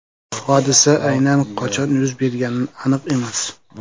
Hodisa aynan qachon yuz bergani aniq emas.